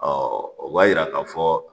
o b'a yira k'a fɔ